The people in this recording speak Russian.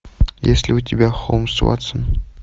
есть ли у тебя холмс ватсон